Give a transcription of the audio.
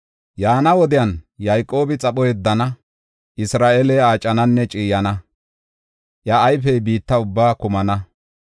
Yaana wodiyan Yayqoobi xapho yeddana; Isra7eeley aacananne ciiyana; iya ayfey biitta ubbaa kumana.